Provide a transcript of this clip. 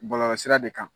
Bɔlɔlɔsira de kan